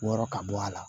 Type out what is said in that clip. Wɔɔrɔ ka bɔ a la